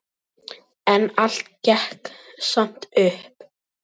En allt gekk samt upp.